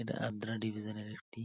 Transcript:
এটা আদ্রা ডিভিশন এর একটি--